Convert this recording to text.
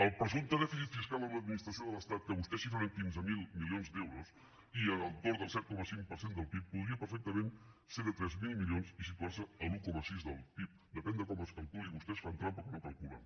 el presumpte dèficit fiscal amb l’administració de l’estat que vostès xifren en quinze mil milions d’euros i a l’entorn del set coma cinc per cent del pib podria perfectament ser de tres mil milions i situar se a l’un coma sis del pib depèn de com es calculi vostès fan trampa quan ho calculen